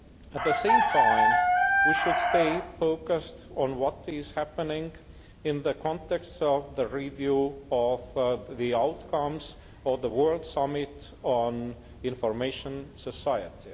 At the same time we should stay focused on what is happening in the context of the review of the outcomes of the World Summit on the Information Society.